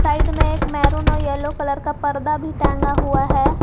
Side में एक maroon और येलो कलर का पर्दा भी टंगा हुआ है।